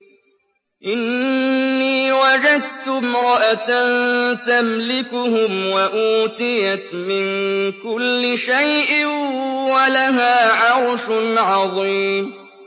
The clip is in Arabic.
إِنِّي وَجَدتُّ امْرَأَةً تَمْلِكُهُمْ وَأُوتِيَتْ مِن كُلِّ شَيْءٍ وَلَهَا عَرْشٌ عَظِيمٌ